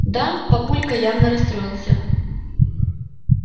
да папулька явно расстроился